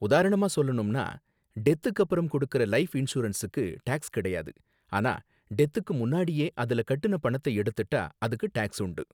உதாரணமா சொல்லணும்னா, டெத்துக்கு அப்பறம் கொடுக்கற லைஃப் இன்சூரன்ஸுக்கு டாக்ஸ் கிடையாது, ஆனா டெத்துக்கு முன்னாடியே அதுல கட்டுன பணத்தை எடுத்துட்டா அதுக்கு டாக்ஸ் உண்டு.